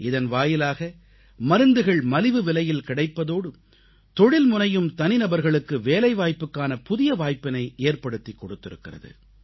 இதன் வாயிலாக மருந்துகள் மலிவுவிலையில் கிடைப்பதோடு தொழில்முனையும் தனிநபர்களுக்கு வேலைவாய்ப்புக்கான புதிய வாய்ப்பினை ஏற்படுத்திக் கொடுத்திருக்கிறது